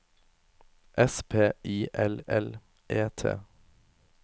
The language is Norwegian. S P I L L E T